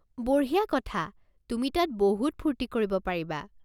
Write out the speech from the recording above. বঢ়িয়া কথা, তুমি তাত বহুত ফূৰ্তি কৰিব পাৰিবা।